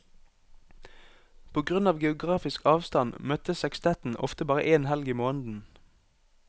På grunn av geografisk avstand møtes sekstetten ofte bare én helg i måneden.